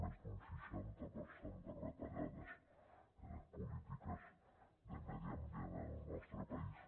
més d’un seixanta per cent de retallades en les polítiques de medi ambient en el nostre país